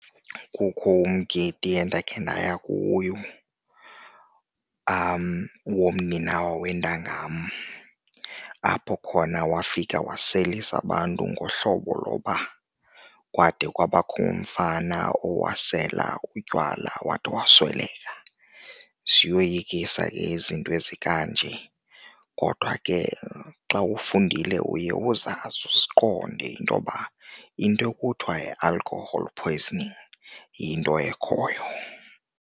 Kukho umgidi endakhe ndayiva kuyo womninawa wentanga yam, apho khona wafika waselisa abantu ngohlobo lokuba kwade kwabakho umfana owasela utywala wade wasweleka. Ziyoyikisa ke izinto ezikanje kodwa ke xa ufundile uye uzazi, uzuqonde intoba into ekuthiwa yi-alcohol poisoning yinto ekhoyo.